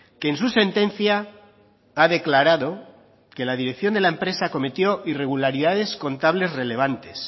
que en su sentencia ha declarado que la dirección de la empresa acometió irregularidades contables relevantes